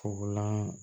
Kɔgɔlan